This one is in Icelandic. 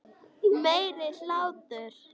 Meiri hlátur.